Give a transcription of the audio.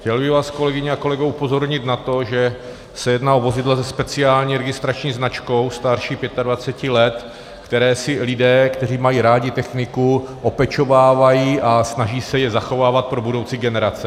Chtěl bych vás, kolegyně a kolegové, upozornit na to, že se jedná o vozidla se speciální registrační značkou starší 25 let, která si lidé, kteří mají rádi techniku, opečovávají a snaží se je zachovávat pro budoucí generace.